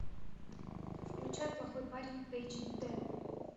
включай плохой парень эйч дэ